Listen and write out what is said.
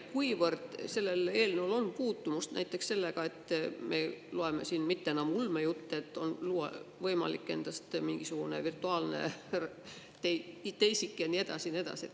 Kuivõrd sellel eelnõul on puutumust näiteks sellega, et me loeme praegu juba enam mitte ulmejutte sellest, et on võimalik luua endast mingisugune virtuaalne teisik ja nii edasi ja nii edasi?